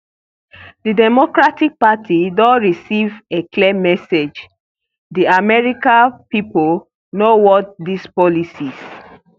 di democratic party don receive a clear message di american pipo no want dis policies